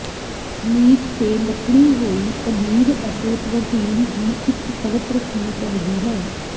meat ਤੇ ਲੱਕੜੀ ਹੋਈ ਪਨੀਰ ਅਤੇ ਪ੍ਰੋਟੀਨ ਦੀ ਇੱਕ ਪਰਤ ਰੱਖਣੀ ਚਾਹੀਦੀ ਹੈ